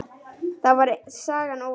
Þá væri sagan ónýt.